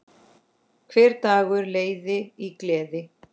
Hver dagur leið í gleði.